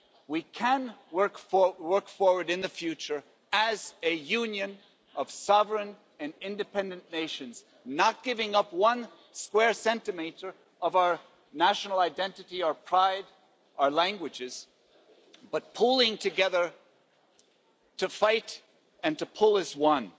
We can work forward in the future as a Union of sovereign and independent nations, not giving up one square centimetre of our national identity or pride or languages, but pulling together to fight and to pull as one.